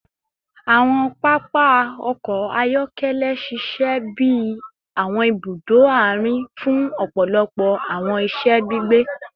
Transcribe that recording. Awọn papa ọkọ ayọkẹlẹ ṣiṣẹ bi awọn ibudo aarin fun ọpọlọpọ awọn iṣẹ gbigbe